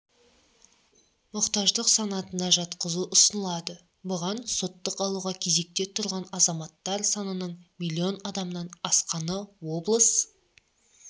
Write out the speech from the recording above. мұқтаждық санатына жатқызу ұсынылады бұған соттық алуға кезекте тұрған азаматтар санының миллион адамнан асқаны облыс